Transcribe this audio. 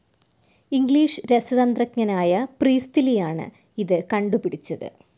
English രസതന്ത്രജ്ഞനായ പ്രീസ്റ്റ്ലിയാണ് ഇത് കണ്ടുപിടിച്ചത്.